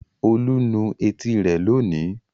Olú nu etí rẹ̀ lónìí.